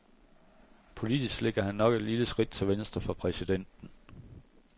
Politisk ligger han nok et lille skridt til venstre for præsidenten.